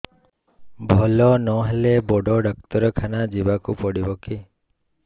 ଭଲ ନହେଲେ ବଡ ଡାକ୍ତର ଖାନା ଯିବା କୁ ପଡିବକି